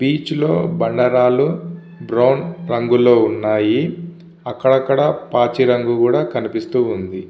Beach లో బండరాళ్ళు brown రంగు లో ఉన్నాయి. అక్కడ అక్కడ మంచి రంగు లో కూడా కనిపిస్తుఉంది.